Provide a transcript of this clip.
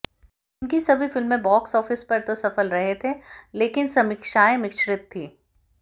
इनकी सभी फिल्में बॉक्स ऑफिस पर तो सफल रहे थे लेकिन समीक्षाएं मिश्रित थी